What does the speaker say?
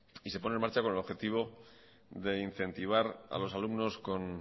y se pone en marcha con el objetivo de incentivar a los alumnos con